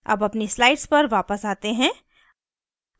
अब अपनी slide पर वापस आते हैं